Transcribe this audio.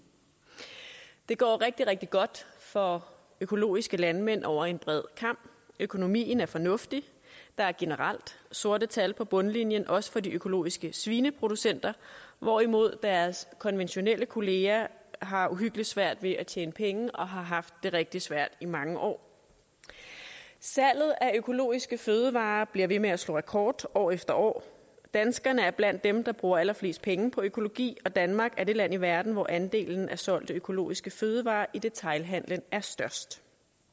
det går rigtig rigtig godt for økologiske landmænd over en bred kam økonomien er fornuftig der er generelt sorte tal på bundlinjen også for de økologiske svineproducenter hvorimod deres konventionelle kollegaer har uhyggelig svært ved at tjene penge og har haft det rigtig svært i mange år salget af økologiske fødevarer bliver ved med at slå rekord år efter år danskerne er blandt dem der bruger allerflest penge på økologi og danmark er det land i verden hvor andelen af solgte økologiske fødevarer i detailhandelen er størst